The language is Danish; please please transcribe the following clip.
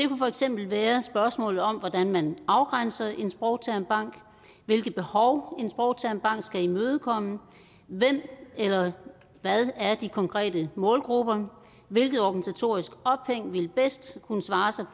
for eksempel være spørgsmålet om hvordan man afgrænser en sprogtermbank hvilke behov en sprogtermbank skal imødekomme hvem eller hvad de konkrete målgrupper er hvilket organisatorisk ophæng vil bedst kunne svare sig